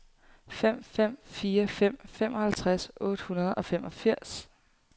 fem fem fire fem femoghalvtreds otte hundrede og femogfirs